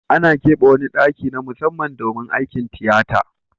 Ana kebe wani daki na musamman domin aikin tiyata.